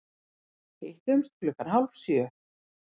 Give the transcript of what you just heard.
Hittumst klukkan hálf sjö.